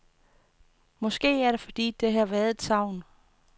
Måske er det fordi, der har været et savn.